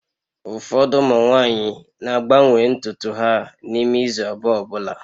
Ụfọdụ ụmụ nwanyị na-agbanwe ntutu ha n'ime izu abụọ ọ bụla